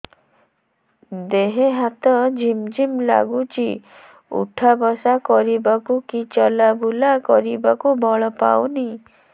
ଦେହେ ହାତ ଝିମ୍ ଝିମ୍ ଲାଗୁଚି ଉଠା ବସା କରିବାକୁ କି ଚଲା ବୁଲା କରିବାକୁ ବଳ ପାଉନି